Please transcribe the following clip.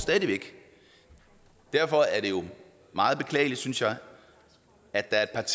derfor er det jo meget beklageligt synes jeg at der er